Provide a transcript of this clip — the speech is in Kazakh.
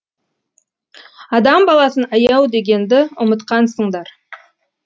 адам баласын аяу дегенді ұмытқансыңдар